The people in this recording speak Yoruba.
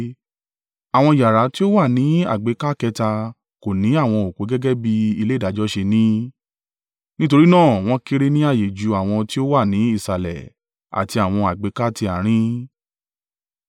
Àwọn yàrá tí ó wà ní àgbékà kẹta kò ni àwọn òpó gẹ́gẹ́ bí ilé ìdájọ́ ṣe ní; nítorí náà wọ́n kéré ní ààyè ju àwọn tí ó wà ní ìsàlẹ̀ àti àwọn àgbékà ti àárín.